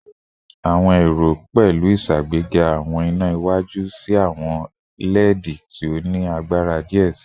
Awọn ero pẹlu iṣagbega awọn ina iwaju si awọn LED ti o ni agbara diẹ sii